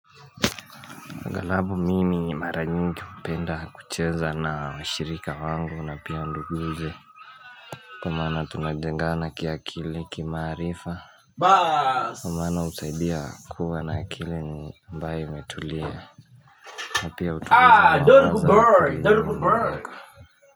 Aghalabu mimi mara nyingi hupenda kucheza na washirika wangu na pia nduguze kwa maana tunajengana kia akili kimaarifa kwa maana husaidia kuwa na akili ambaye imetulia na pia hutuweza wanguza.